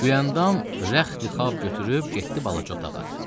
Gülyandam rəxti-xab götürüb getdi balaca otağa.